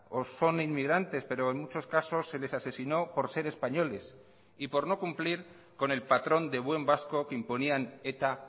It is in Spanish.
o son inmigrantes pero en muchos casos se les asesinó por ser españoles y por no cumplir con el patrón de buen vasco que imponían eta